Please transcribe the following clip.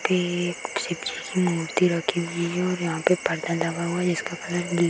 पे एक शिव जी की मूर्ति रखी हुई है और यहाँ पे पर्दा लगा हुआ है जिसका कलर गी --